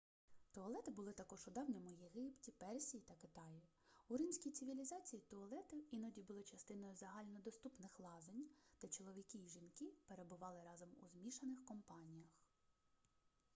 туалети були також у давньому єгипті персії та китаї у римській цивілізації туалети іноді були частиною загальнодоступних лазень де чоловіки і жінки перебували разом у змішаних компаніях